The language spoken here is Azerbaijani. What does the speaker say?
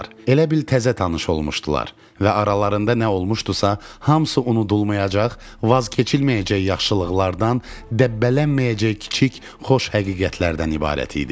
Elə bil təzə tanış olmuşdular və aralarında nə olmuşdusa, hamısı unudulmayacaq, vaz keçilməyəcək yaxşılıqlardan, dəbbələnməyəcək kiçik xoş həqiqətlərdən ibarət idi.